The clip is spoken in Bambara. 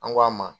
An ko a ma